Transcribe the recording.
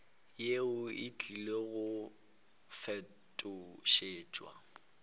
yeo e tlile go fetošetšwa